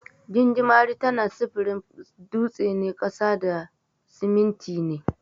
Gingimari tana sufurin dutsina, ƙasa da siminti ne.